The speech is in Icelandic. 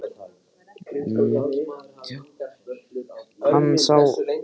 Já, hann sá það greinilega núna að Sonja var líka bara til óþæginda.